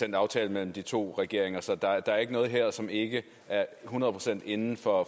en aftale mellem de to regeringer så der er ikke noget her som ikke er et hundrede procent inden for